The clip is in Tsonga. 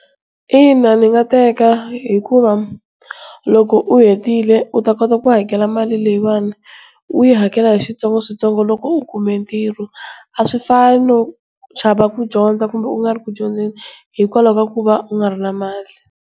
Ina, ni nga teka hikuva loko u hetile u ta kota ku hakela mali leyiwani, u yi hakela hi switsongoswitsongo loko u kume ntirho a swi fani no chava ku dyondza kumbe u nga ri ku dyondzeni hikwalaho ka ku va u nga ri na mali.